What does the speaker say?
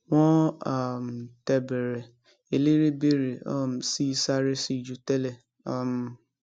wọn um tẹ bẹrẹ eléré bèrè um sí i sáré síi ju tẹlẹ um